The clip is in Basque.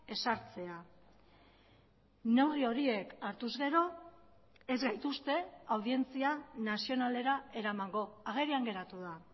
ezartzea neurri horiek hartuz gero ez gaituzte audientzia nazionalera eramango agerian geratu da